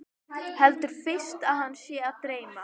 Heldur fyrst að hana sé að dreyma.